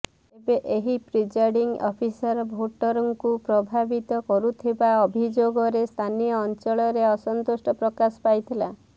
ତେବେ ଏହି presiding officer ଭୋଟରଙ୍କୁ ପ୍ରଭାବିତ କରୁଥିବା ଅଭିଯୋଗରେ ସ୍ଥାନୀୟ ଅଞ୍ଚଳରେ ଅସନ୍ତୋଷ ପ୍ରକାଶ ପାଇଥିଲା